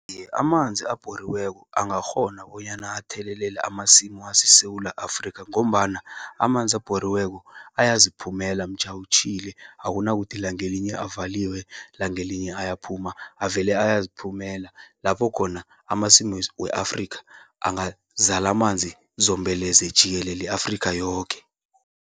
Amanzi abhoriweko, angakghona bonyana athelelele amasimu aseSewula Afrika, ngombana amanzi abhoriweko, ayaziphumela mtjha utjhile. Akunakuthi langelinye avaliwe, langelinye ayaphuma, avele ayaziphumela. Lapho khona, amasimu weAfrikha angazala manzi zombelele, jikelele i-Afrika yoke.